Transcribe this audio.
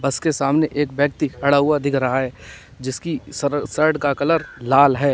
बस के सामने एक व्यक्ति खड़ा हुआ दिख रहा है जिसकी सर शर्ट का कलर लाल है।